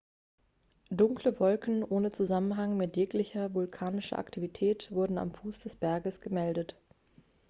dunkle wolken ohne zusammenhang mit jeglicher vulkanischer aktivität wurden am fuß des berges gemeldet